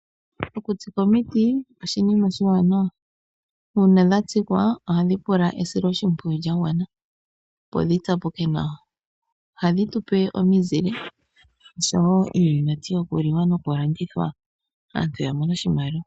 Okutsika omiti oshinima oshiwanawa, uunaa dhatsikwa ohadhi pumbwa esiloshimpwiyu lyagwana opo dhitsapuke nawa. Ohadhi tupe omizile oshowo iiyimati yokuliwa nokulandithwa yamone oshimaliwa.